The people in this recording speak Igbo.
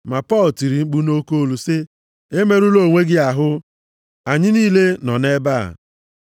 Ma Pọl tiri mkpu nʼoke olu, sị, “Emerula onwe gị ahụ. Anyị niile nọ nʼebe a!”